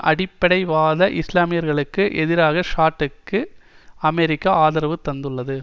அடிப்படைவாத இஸ்லாமியர்களுக்கு எதிராக சாட்டிற்கு அமெரிக்கா ஆதரவு தந்துள்ளது